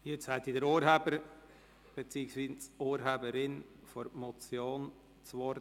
Jetzt hat der Urheber beziehungsweise die Urheberin der Motion das Wort.